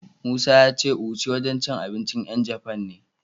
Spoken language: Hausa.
Musa ya ce Uchi wajen cin abincin 'yan Jafan ne.